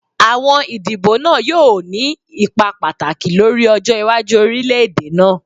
Awọn idibo naa yoo ni ipa pataki lori ọjọ iwaju orilẹ-ede naa.